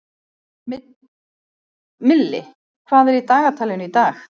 Milli, hvað er í dagatalinu í dag?